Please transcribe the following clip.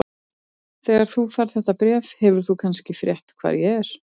Þegar þú færð þetta bréf hefur þú kannski frétt hvar ég er.